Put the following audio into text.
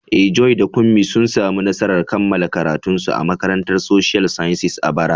Eh, Joy da Kunmi sun samu nasarar kammala karatunsu a Makarantar Social Sciences a bara.